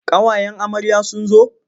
Ƙawayen amarya sun zo.